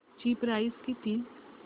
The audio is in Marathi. ची प्राइस किती